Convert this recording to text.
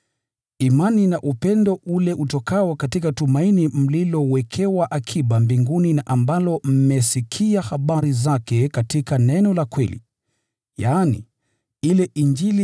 imani na upendo ule utokao katika tumaini mlilowekewa akiba mbinguni, na ambalo mmesikia habari zake katika neno la kweli, yaani, ile Injili